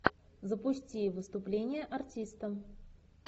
запусти выступление артиста